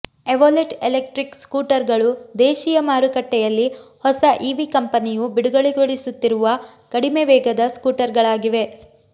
Evolet electric ಸ್ಕೂಟರ್ಗಳು ದೇಶಿಯ ಮಾರುಕಟ್ಟೆಯಲ್ಲಿ ಹೊಸ ಇವಿ ಕಂಪನಿಯು ಬಿಡುಗಡೆಗೊಳಿಸುತ್ತಿರುವ ಕಡಿಮೆ ವೇಗದ ಸ್ಕೂಟರ್ಗಳಾಗಿವೆ